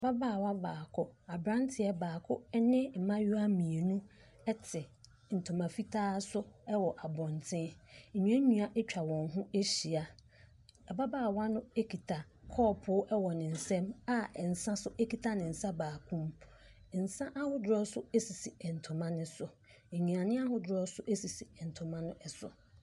Ababaawa baako, aberanteɛ baako, ne mmaayewa mmienu te ntoma fitaa so wɔ abɔnten, nnuannua atwa wɔn ho ahyia, ababaawa no kita kɔɔpo wɔ ne nsam a nsa so kita ne nsa baako mu, nsa ahodoɔ nso sisi ntoma ne so, nnuane ahodoɔ nso sisi ntoma ne so.